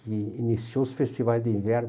que iniciou os festivais de inverno.